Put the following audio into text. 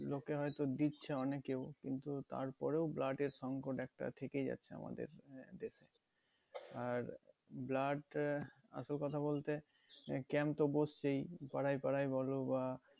লোকে হয়তো দিচ্ছে অনেকেও কিন্তু তার পরেও blood এর সংকট একটা থেকেই যাচ্ছে আমাদের আর blood আহ আসল কথা বলতে camp তো বসছেই পাড়ায় পাড়ায় বলো বা